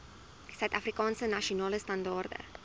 suidafrikaanse nasionale standaarde